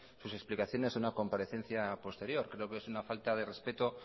sus explicaciones en una comparecencia posterior creo que es una falta de respeto